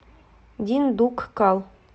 диндуккал